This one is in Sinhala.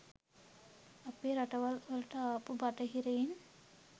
අපේ රටවල් වලට ආපු බටහිරයින්.